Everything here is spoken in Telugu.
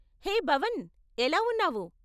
హే భవన్, ఎలా ఉన్నావు?